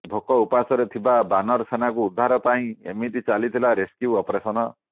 ଭୋକ ଉପାସରେ ଥିବା ବାନର ସେନାଙ୍କୁ ଉଦ୍ଧାର ପାଇଁ ଏମିତି ଚାଲିଥିଲା ରେସ୍କ୍ୟୁ ଅପରେସନ୍